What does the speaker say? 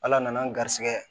Ala nana an garisɛgɛ ye